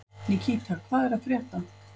Nikíta, hvað er að frétta?